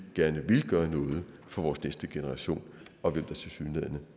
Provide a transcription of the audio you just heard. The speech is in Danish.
gerne vil gøre noget for vores næste generation og hvem der tilsyneladende